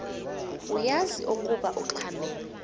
uyaz ukoba ungxamel